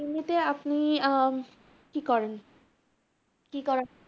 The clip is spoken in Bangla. এমনিতে আপনি আহ কি করেন? কি করা~